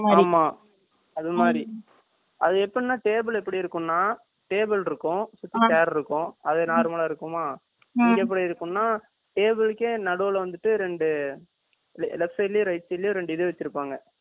அமா. அது மாரி. அது எப்படி என்னா டேபிள் எப்படி இருக்கும்னா table இருக்கும் சேரு இருக்கும். அது எப்படி என்றால் டேபிள் எப்படி இருக்கும்னா table இருக்கும் சேர் uu இருக்கும். அது நொர்மலா இருக்குமா. இங்க எப்படி டேபிளுக்கு நடுவுல வந்துட்டு ரெண்டு. வெப்சைட்லயோ ரைட் சைடுலயோ ரெண்டு இது வச்சிருப்பாங்க. இந்த பர்னர் இருக்கில